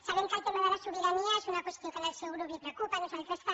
sabem que el tema de la sobirania és una qüestió que al seu grup el preocupa a nosaltres també